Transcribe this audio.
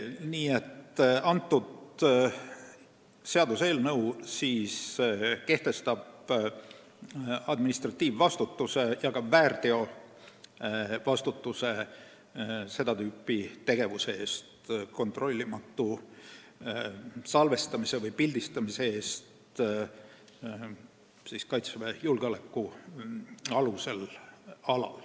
Kõnealune seaduseelnõu kehtestab administratiivvastutuse ja ka väärteovastutuse seda tüüpi tegevuse eest, st kontrollimatu salvestamise või pildistamise eest Kaitseväe julgeolekualal.